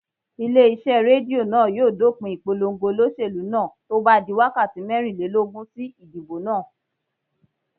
Ilé iṣẹ́ Rédíò náà yóò dópin ìpolongo olóṣèlú náà tó bá di wákàtí mẹ́rìnlélógún sí idibo náà.